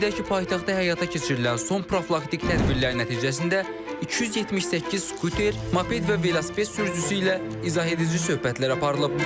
Qeyd edək ki, paytaxtda həyata keçirilən son profilaktik tədbirlər nəticəsində 278 skuter, moped və velosiped sürücüsü ilə izah edici söhbətlər aparılıb.